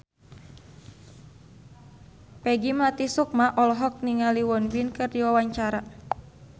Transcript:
Peggy Melati Sukma olohok ningali Won Bin keur diwawancara